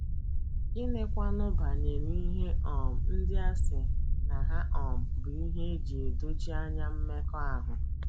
Gịnịkwanụ banyere ihe um ndị a sị na ha um bụ ihe e ji edochi anya mmekọahụ?